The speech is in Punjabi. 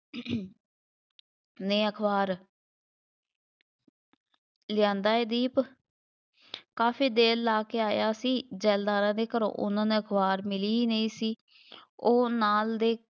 ਨੇ ਅਖਬਾਰ ਲਿਆਂਦਾ ਏ ਦੀਪ, ਕਾਫੀ ਦੇਰ ਲਾ ਕੇ ਆਇਆ ਸੀ, ਜ਼ੈਲਦਾਰਾਂ ਦੇ ਘਰੋਂ ਉਹਨਾ ਨੂੰ ਅਖਬਾਰ ਮਿਲੀ ਹੀ ਨਹੀਂ ਸੀ, ਉਹ ਨਾਲ ਦੇ